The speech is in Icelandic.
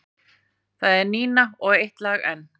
Það er Nína og Eitt lag enn.